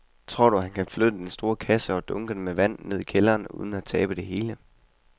Tror du, at han kan flytte den store kasse og dunkene med vand ned i kælderen uden at tabe det hele?